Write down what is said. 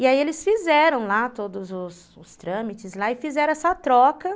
E aí eles fizeram lá todos os os trâmites e fizeram essa troca.